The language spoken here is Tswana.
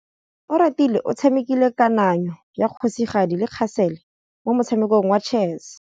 Oratile o tshamekile kananyô ya kgosigadi le khasêlê mo motshamekong wa chess.